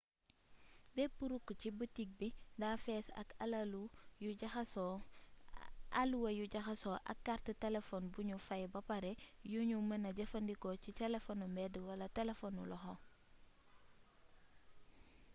bëpp rukk ci bitik bi da fess ak alluwa yu jaxasso ak kaart telefon buñu faay bapare yuñu mëna jëfandikoo ci telefonu mbeed wala telefonu loxo